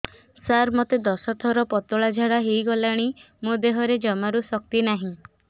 ସାର ମୋତେ ଦଶ ଥର ପତଳା ଝାଡା ହେଇଗଲାଣି ମୋ ଦେହରେ ଜମାରୁ ଶକ୍ତି ନାହିଁ